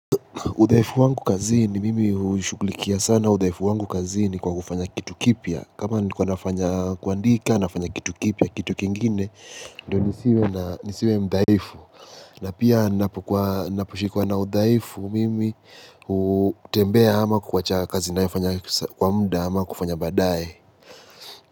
Udhaifu wangu kazini mimi hushugukulikia sana udhaifu wangu kazini kwa kufanya kitu kipya. Kama nikuwa nafanya kuandika nafanya kitu kipya, kitu kingine, ndio nisiwe mdhaifu. Na pia ninaposhikwa na udhaifu mimi hutembea ama kuwacha kazi naifanya kwa muda ama kufanya baadaye.